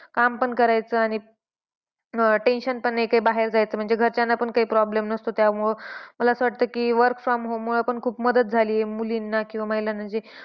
काम पण करायचं आणि अं tension पण नाही काही बाहेर जायचं म्हणजे घरच्यांना पण काही problems नसतो त्यामुळे. मला असं वाटतं की work from home मुळे पण खूप मदत झाली आहे मुलींना किंवा महिलांना. जे